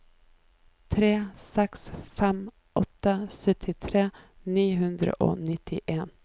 tre seks fem åtte syttitre ni hundre og nittien